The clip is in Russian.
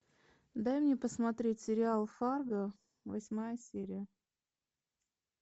дай мне посмотреть сериал фарго восьмая серия